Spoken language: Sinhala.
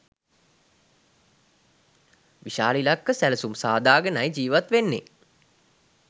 විශාල ඉලක්ක සැලසුම් සාදාගෙනයි ජීවත් වන්නේ.